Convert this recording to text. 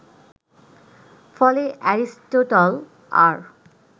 ফলে এরিস্টটল আর